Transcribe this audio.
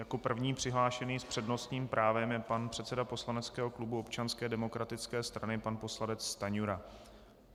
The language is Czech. Jako první přihlášený s přednostním právem je pan předseda poslaneckého klubu Občanské demokratické strany, pan poslanec Stanjura.